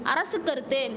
அரசு கருத்து